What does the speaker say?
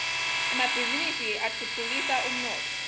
emabhisinisi atfutfukisa umnotfo